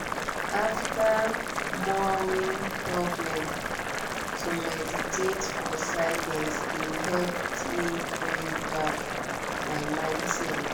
ater morining problem to meditate for silence de helped me bring back my mindset.